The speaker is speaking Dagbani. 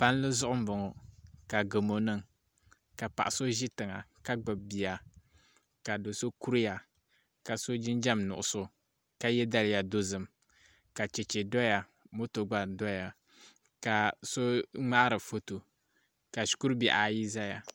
Palli zuɣu n boŋo ka gamo niŋ ka paɣa so ʒi tiŋa ka gbubi bia ka do so kuriya ka so jinjɛm nuɣso ka yɛ daliya dozim ka chɛchɛ doya moto gba doya ka so ŋmaari foto ka shikuru bihi ayi ʒɛya